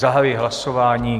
Zahajuji hlasování.